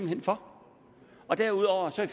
hen for derudover er